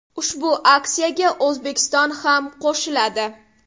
Ushbu aksiyaga O‘zbekiston ham qo‘shiladi.